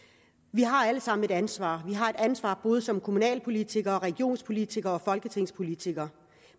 vi har alle sammen et ansvar vi har et ansvar både som kommunalpolitikere regionspolitikere og folketingspolitikere